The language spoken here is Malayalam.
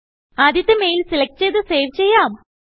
ആദ്യത്തെ മെയിൽ സെലക്ട് ചെയ്തു സേവ് ചെയ്യാം